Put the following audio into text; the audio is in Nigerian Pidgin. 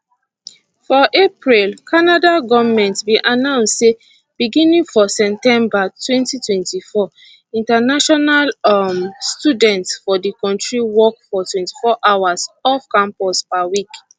for april canada goment bin announce say beginning for september 2024 international um students for di kontri work for 24 hours off campus per week